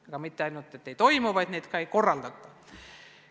Neid mitte ainult ei toimu, vaid neid ka ei korraldata.